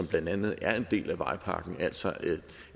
blandt andet er en del af vejpakken altså